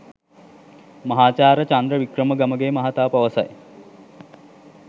මහාචාර්ය චන්ද්‍ර වික්‍රම ගමගේ මහතා පවසයි.